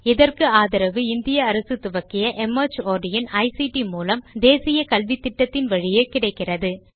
இதற்கு ஆதரவு இந்திய அரசு துவக்கிய மார்ட் இன் ஐசிடி மூலம் தேசிய கல்வித்திட்டத்தின் வழியே கிடைக்கிறது